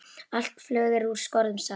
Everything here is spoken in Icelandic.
Allt flug er úr skorðum, sagði hann.